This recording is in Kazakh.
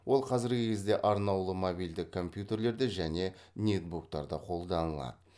ол қазіргі кезде арнаулы мобильді компьютерлерде және нетбуктарда қолданылады